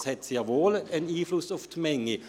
Es hat also sehr wohl einen Einfluss auf die Menge.